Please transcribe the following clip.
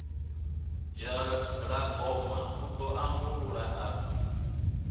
dzhalagoma u ḓo ambulula a